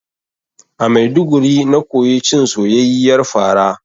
A Maiduguri na koyi cin soyayyiyar fara